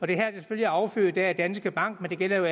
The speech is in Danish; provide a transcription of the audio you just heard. det her er selvfølgelig affødt af at danske bank men det gælder jo